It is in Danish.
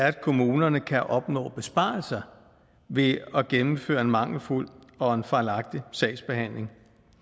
at kommunerne kan opnå besparelser ved at gennemføre en mangelfuld og en fejlagtig sagsbehandling